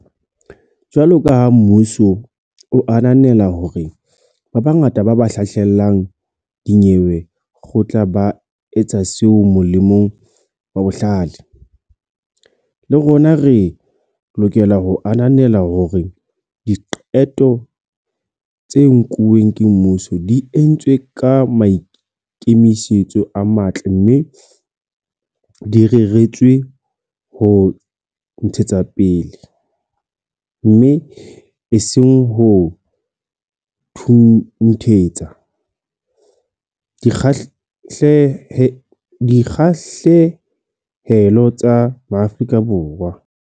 Jwalo feela kaha mmuso o ananela hore bongata ba ba hlahlelang dinyewe kgotla ba etsa seo molemong wa bohle, le rona re lokela ho ananela hore diqeto tse nkuweng ke mmuso di entswe ka maikemisetso a matle mme di reretswe ho ntshetsapele, mme e seng ho thunthetsa, dikgahlehelo tsa Maafrika Borwa.